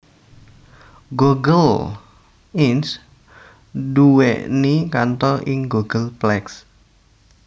Google Inc nduwèni kantor ing Googleplex